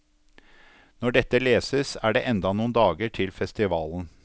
Når dette leses, er det enda noen dager til festivalen.